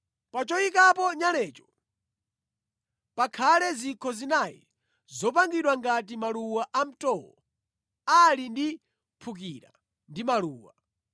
Pa choyikapo nyalecho pakhale zikho zinayi zopangidwa ngati maluwa amtowo ali ndi mphukira ndi maluwa.